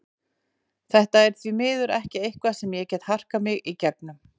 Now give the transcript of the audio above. Þetta er því miður ekki eitthvað sem ég get harkað mig í gegnum.